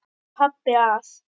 Pabbi að.